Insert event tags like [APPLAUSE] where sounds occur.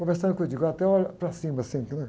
Conversando com o, [UNINTELLIGIBLE] até olha para cima, assim, porque né?